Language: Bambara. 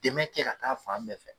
Dɛmɛ kɛ ka taa fan bɛɛ fɛ